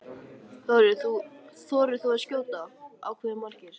Þór Jónsson: Þorir þú að skjóta á hve margir?